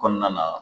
Kɔnɔna na